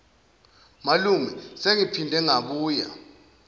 malume sengiphinde ngabuya